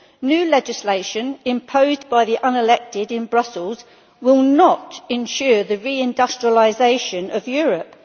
New legislation imposed by the unelected in Brussels will not ensure the re industrialisation of Europe.